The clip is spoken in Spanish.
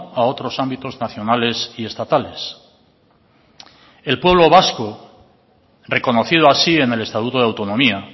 a otros ámbitos nacionales y estatales el pueblo vasco reconocido así en el estatuto de autonomía